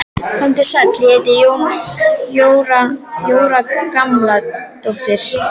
Komdu sæll, ég heiti Jóra Gamladóttir